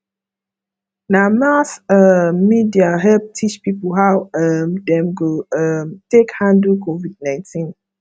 na mass um media help teach people how um dem go um take handle covid19